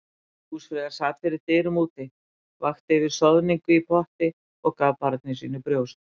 Húsfreyja sat fyrir dyrum úti, vakti yfir soðningu í potti og gaf barni sínu brjóst.